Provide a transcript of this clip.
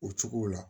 O cogo la